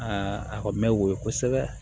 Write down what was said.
a kɔni bɛ woyo kosɛbɛ